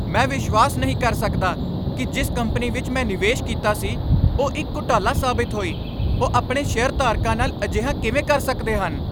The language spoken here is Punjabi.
ਮੈਂ ਵਿਸ਼ਵਾਸ ਨਹੀਂ ਕਰ ਸਕਦਾ ਕਿ ਜਿਸ ਕੰਪਨੀ ਵਿੱਚ ਮੈਂ ਨਿਵੇਸ਼ ਕੀਤਾ ਸੀ ਉਹ ਇੱਕ ਘੁਟਾਲਾ ਸਾਬਤ ਹੋਈ। ਉਹ ਆਪਣੇ ਸ਼ੇਅਰਧਾਰਕਾਂ ਨਾਲ ਅਜਿਹਾ ਕਿਵੇਂ ਕਰ ਸਕਦੇ ਹਨ?